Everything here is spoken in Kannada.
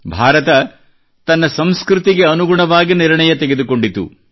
ಭಾರತ ತನ್ನ ಸಂಸ್ಕೃತಿಗೆ ಅನುಗುಣವಾಗಿ ನಿರ್ಣಯ ತೆಗೆದುಕೊಂಡಿತು